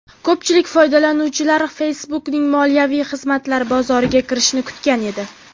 Ko‘pchilik foydalanuvchilar Facebook’ning moliyaviy xizmatlar bozoriga kirishini kutgan edi.